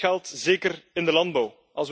Dat geldt zeker in de landbouw.